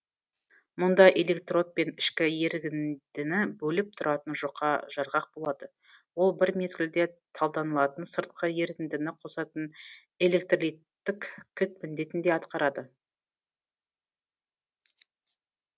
мұнда электрод пен ішкі ерігіндіні бөліп тұратын жұқа жарғақ болады ол бір мезгілде талданылатын сыртқы ерітіндіні қосатын электролиттік кілт міндетін де атқарады